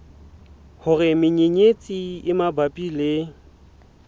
hore menyenyetsi e mabapi le